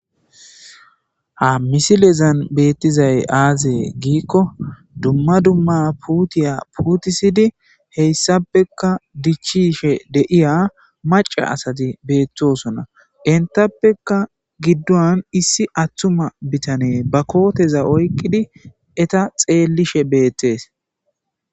ha misilezan beettizay aazee giikko dumma dumma puutiya puutisidi heyssappekka dichishe deiya maca asati beettosona entappeka giddon issi atthuma bitane ba kooteza oykqidi eta xeellishe beettees